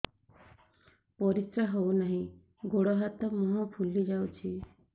ପରିସ୍ରା ହଉ ନାହିଁ ଗୋଡ଼ ହାତ ମୁହଁ ଫୁଲି ଯାଉଛି